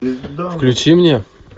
включи мне